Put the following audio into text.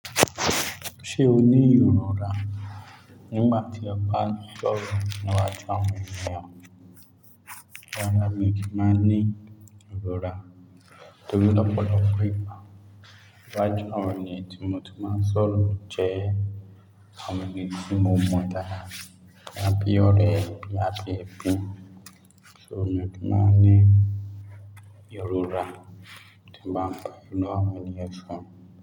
Ṣé o ní ìrora nígbà tí ó bá sọ̀rọ̀ níwájú àwọn ènìyàn? Rárá mi ò kí máa ní ìrora torí lọ́pọ̀lọ́pọ̀ ìgbà wájú àwọn ènìyàn tí mo ti máa sọ̀rọ̀ jẹ́ àwọn ènìyàn tí mo mọ dáadáa, àbí ọ̀rẹ́, àbí ẹbí. So mi ò kí máa ní ìròra tí bá ń padà wá ní ẹṣùn.